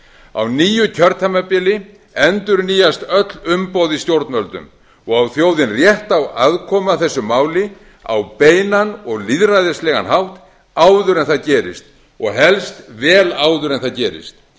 á nýju kjörtímabili endurnýjast öll umboð í stjórnvöldum og á þjóðin rétt á aðkomu að þessu máli á beinan og lýðræðislegan hátt áður en það gerist og helst vel áður en það gerist